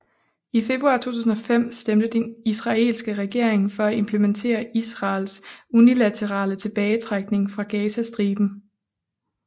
I februar 2005 stemte den israelske regering for at implementere Israels unilaterale tilbagetrækning fra Gazastriben